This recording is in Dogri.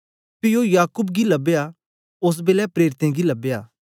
पी ओ याकूब गी लबया ओस बेलै प्रेरितें गी लबया